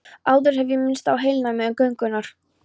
Áður hef ég minnst á heilnæmi göngunnar.